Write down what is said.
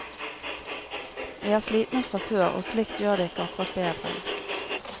Vi er slitne fra før, og slikt gjør det ikke akkurat bedre.